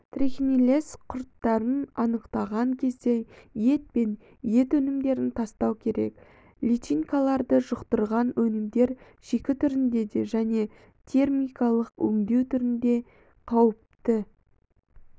трихинеллез құрттарын анықтаған кезде ет пен ет өнімдерін тастау керек личинкаларды жұқтырған өнімдер шикі түрінде де және термикалық өңдеу түрінде қауіпті